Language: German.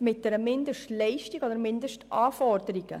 mit einer Mindestleistung oder Mindestanforderungen an eine Art Jobprofil geknüpft.